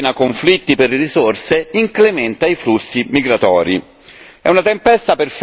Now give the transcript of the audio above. Miete vittime, scatena conflitti per le risorse, incrementa i flussi migratori.